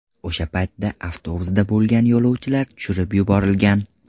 O‘sha paytda avtobusda bo‘lgan yo‘lovchilar tushirib yuborilgan.